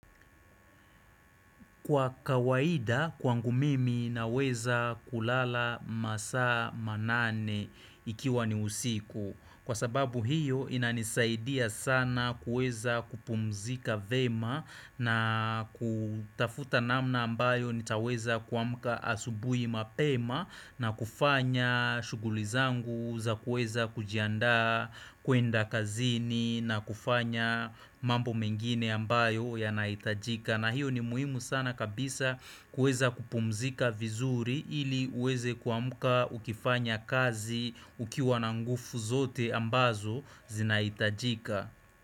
Kwa kawaida kwangu mimi naweza kulala masaa manane ikiwa ni usiku Kwa sababu hiyo inanisaidia sana kueza kupumzika vyema na kutafuta namna ambayo nitaweza kuamka asubuhi mapema na kufanya shughuli zangu za kuweza kujiandaa kuenda kazini na kufanya mambo mengine ambayo yanahitajika na hiyo ni muhimu sana kabisa kuweza kupumzika vizuri ili uweze kuamka ukifanya kazi ukiwa nanl nguvu zote ambazo zinahitajika.